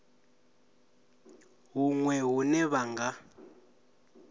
na huṅwe hune vha nga